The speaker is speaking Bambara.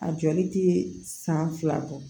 A jɔli tɛ san fila bɔ